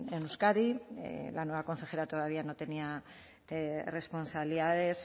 en euskadi la nueva consejera todavía no tenía responsabilidades